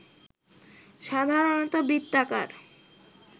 সাধারণত বৃত্তাকার